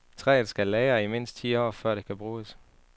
Træet skal lagre i mindst ti år, før det kan bruges.